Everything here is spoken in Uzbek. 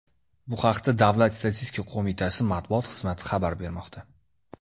Bu haqda Davlat statistika qo‘mitasi matbuot xizmati xabar bermoqda .